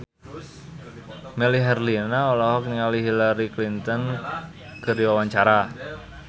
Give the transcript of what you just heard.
Melly Herlina olohok ningali Hillary Clinton keur diwawancara